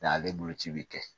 N' ale boloci bɛ kɛ